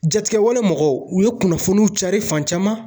Jatigɛwale mɔgɔw u ye kunnafoniw cari fan caman